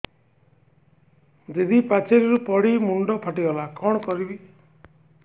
ଦିଦି ପାଚେରୀରୁ ପଡି ମୁଣ୍ଡ ଫାଟିଗଲା କଣ କରିବି